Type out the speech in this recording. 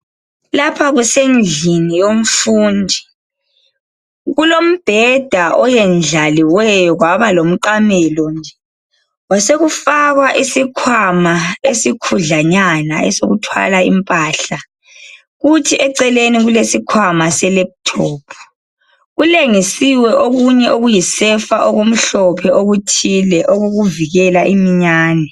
Lapha kusendlini yomfundi. Kulombheda oyendlaliweyo kwaba lomqamelo. Kwasokufakwa isikhwama esikhudlwanyana esokuthwala impahla. Kuthi eceleni kulesikhwama selephuthophu. Kulengisiwe okunye okuyisefa okumhlophe okuthile okokuvikela imiyani.